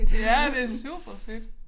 Ja det superfedt